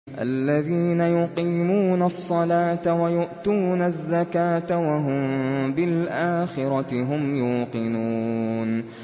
الَّذِينَ يُقِيمُونَ الصَّلَاةَ وَيُؤْتُونَ الزَّكَاةَ وَهُم بِالْآخِرَةِ هُمْ يُوقِنُونَ